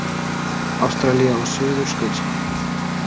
Ástralía og Suðurskautslandið.